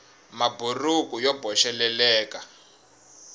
maburuku yo boxeleleka